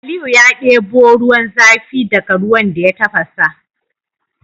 Aliyu ya debo ruwan zafi daka ruwan da ya tafasa